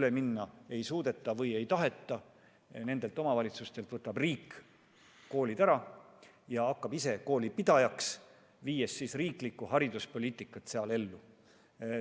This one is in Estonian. üle minna ei suudeta või ei taheta, võtab riik koolid ära ja hakkab ise koolipidajana seal riiklikku hariduspoliitikat ellu viima.